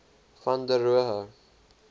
van der rohe